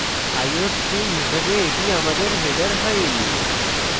iostream হিসাবে এটি আমাদের header file